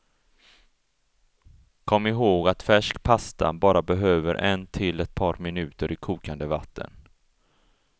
Kom ihåg att färsk pasta bara behöver en till ett par minuter i kokande vatten.